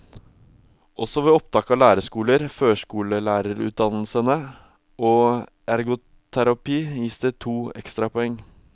Også ved opptak til lærerskoler, førskolelærereutdannelsene og ergoterapi gis det to ekstrapoeng.